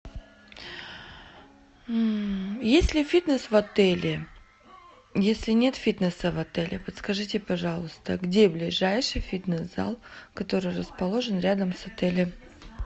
есть ли фитнес в отеле если нет фитнеса в отеле подскажите пожалуйста где ближайший фитнес зал который расположен рядом с отелем